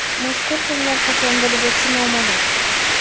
Mazkur janglar qachon bo‘lib o‘tishi noma’lum.